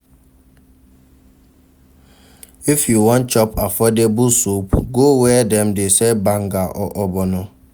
If you wan chop affordable soup, go where dem dey sell banga or ogbono.